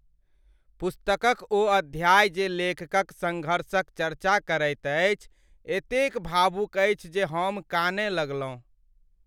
पुस्तकक ओ अध्याय जे लेखकक संघर्षक चर्चा करैत अछि, एतेक भावुक अछि जे हम कानय लगलहुँ।